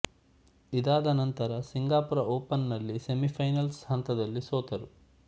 ಇದಾದ ನಂತರ Singapore open ನಲ್ಲಿ ಸೆಮಿಫೈನಲ್ಸ್ ಹಂತದಲ್ಲಿ ಸೋತರು